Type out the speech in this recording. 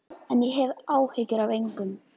En ég hef áhyggjur af engum.